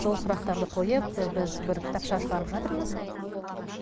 сол сұрақтарды қойып біз бір кітапша шығарып жатырмыз